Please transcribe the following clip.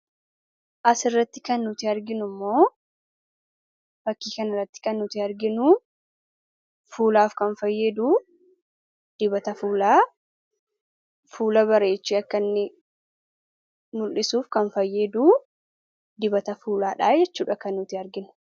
Asirratti kan nuti argaa jirruu akkasumas fakkii kanarraatti kan nuti arginu fuulaaf kan fayyadu, fuula bareechee akka inni mul'dhisuuf kan fayyadu dibata fuuladha jechuudhaa. Kan nuti arginu.